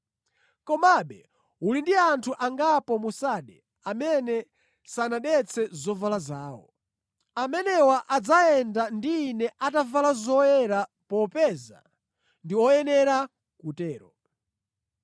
Komabe uli ndi anthu angapo mu Sarde amene sanadetse zovala zawo. Amenewa adzayenda ndi Ine atavala zoyera popeza ndi oyenera kutero.